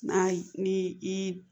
N'a ni i